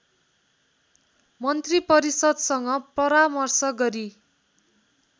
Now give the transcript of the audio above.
मन्त्रिपरिषद्सँग परामर्श गरी